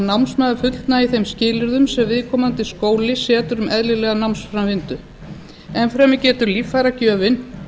námsmaður fullnægi þeim skilyrðum sem viðkomandi skóli setur um eðlilega námsframvindu enn fremur getur líffæragjöfin